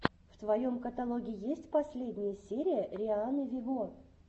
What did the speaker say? в твоем каталоге есть последняя серия рианны вево